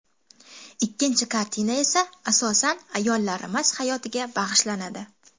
Ikkinchi kartina esa asosan ayollarimiz hayotiga bag‘ishlanadi”.